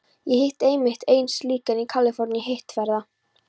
Ég hitti einmitt einn slíkan í Kaliforníu í hitteðfyrra.